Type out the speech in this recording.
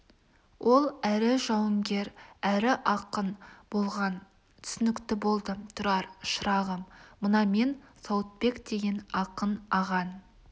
ол әрі жауынгер әрі ақын болған түсінікті болды тұрар шырағым мына мен сауытбек деген ақын ағаң